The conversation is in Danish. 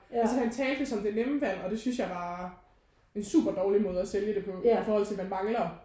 Altså han talte ligesom det nemme valg og det synes jeg var en super dårlig måde at sælge det på i forhold til man mangler